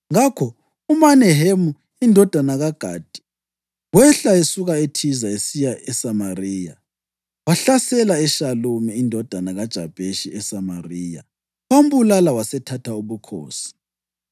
Ngakho uMenahemu indodana kaGadi wehla esuka eThiza esiya eSamariya. Wahlasela uShalumi indodana kaJabheshi eSamariya, wambulala wasethatha ubukhosi.